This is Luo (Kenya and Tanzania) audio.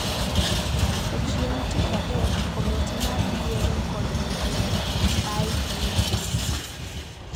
To chieng’ tich adek, Komiti mar Yiero kod Mihinga (IEBC)